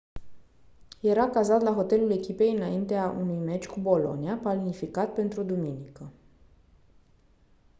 era cazat la hotelul echipei înaintea unui meci cu bologna planificat pentru duminică